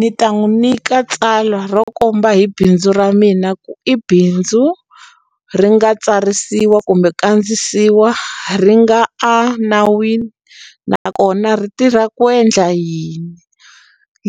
Ni ta n'wu nyika tsalwa ro komba hi bindzu ra mina ku i bindzu ri nga tsarisiwa kumbe kandzisiwa ri nga a nawini nakona ri tirha ku endla yini